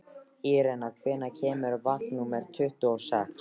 Irena, hvenær kemur vagn númer tuttugu og sex?